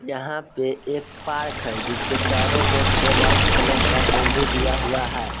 यहां पे एक पार्क है जिसके चारो ओर से वाइट कलर का बाउंड्री दीया हुआ है।